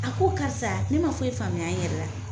A ko karisa ne man foyi faamuya n yɛrɛ la.